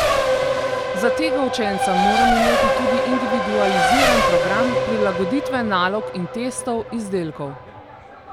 Za tega učenca moram imeti tudi individualiziran program, prilagoditve nalog in testov, izdelkov.